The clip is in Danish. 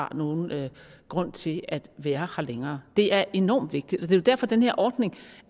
har nogen grund til at være her længere det er enormt vigtigt og det er derfor at den her ordning